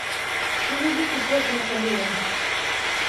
привезите торт наполеон